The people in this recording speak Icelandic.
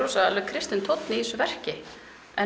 kristinn tónn í þessu verki en